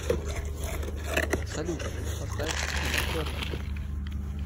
салют поставь тина тернер